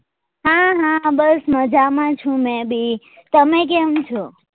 હા હા બસ મજામાં છુ મેં બી તમે કેમ છો?